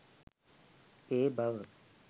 ඒ බව